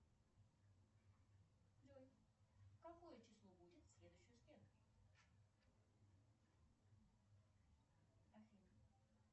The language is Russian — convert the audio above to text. джой какое число будет в следующую среду афина